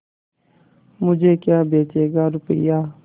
मुझे क्या बेचेगा रुपय्या